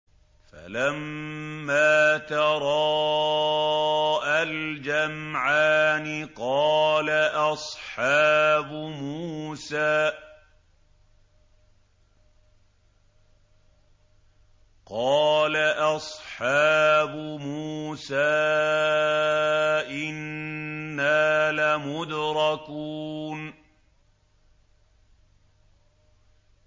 فَلَمَّا تَرَاءَى الْجَمْعَانِ قَالَ أَصْحَابُ مُوسَىٰ إِنَّا لَمُدْرَكُونَ